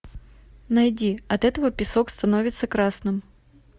найди от этого песок становится красным